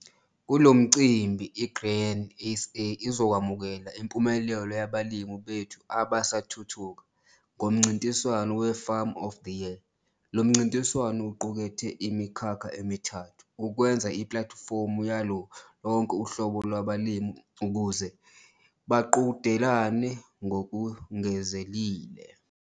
Kulo mcimbi i-Grain SA izokwamukela impumelelo yabalimi bethu abasathuthuka ngomncintwano we-Farmer of the Year. Lo mncintiswano uqukethe imikhakha emithathu ukwenza iplatifomu yalo lonke uhlobo lwabalimi ukuze baqhudelane ngokungenzeleli.